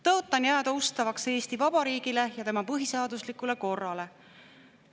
Tõotan jääda ustavaks Eesti Vabariigile ja tema põhiseaduslikule korrale.